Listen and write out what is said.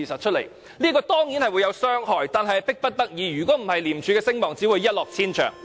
這樣做當然會有傷害，但實屬迫不得已，否則廉署的聲望只會一落千丈。